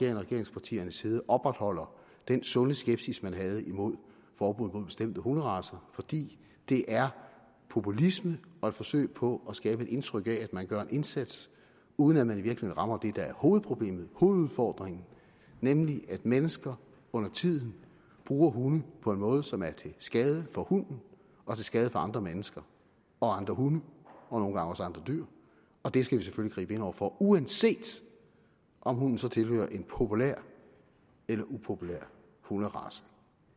og regeringspartiernes side opretholder den sunde skepsis man havde imod forbuddet imod bestemte hunderacer fordi det er populisme og et forsøg på at skabe et indtryk af at man gør en indsats uden at man i virkeligheden rammer det der er hovedproblemet hovedudfordringen nemlig at mennesker undertiden bruger hunde på en måde som er til skade for hunden og til skade for andre mennesker og andre hunde og nogle gange også andre dyr og det skal vi selvfølgelig gribe ind over for uanset om hunden så tilhører en populær eller upopulær hunderace